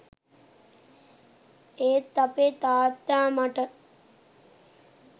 ඒත් අපේ තාත්තා මට